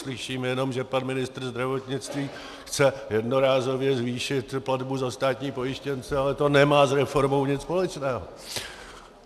Slyšíme jenom, že pan ministr zdravotnictví chce jednorázově zvýšit platbu za státní pojištěnce, ale to nemá s reformou nic společného.